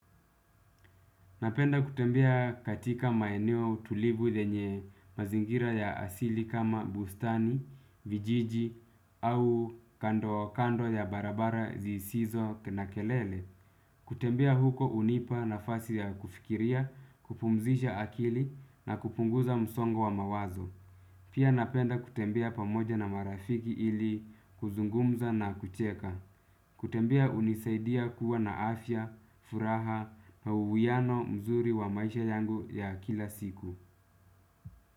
Napenda kutembea katika maeneo tulivu yenye mazingira ya asili kama bustani, vijiji au kando kando ya barabara zisizo na kelele. Kutembea huko unipa nafasi ya kufikiria, kupumzisha akili nakupunguza msongo wa mawazo. Pia napenda kutembea pamoja na marafiki ili kuzungumza na kucheka. Kutembea hunisaidia kuwa na afya, furaha, na uwiano mzuri wa maisha yangu ya kila siku.